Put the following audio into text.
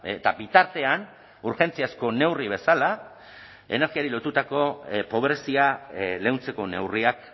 eta bitartean urgentziazko neurri bezala energiari lotutako pobrezia leuntzeko neurriak